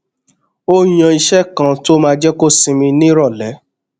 ó yan ìṣe kan tó máa jé kó sinmi níròlé